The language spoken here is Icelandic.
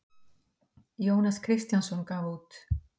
Jónas Kristjánsson gaf út.